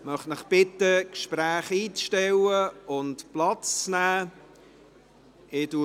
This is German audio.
Ich bitte Sie, die Gespräche einzustellen und Platz zu nehmen.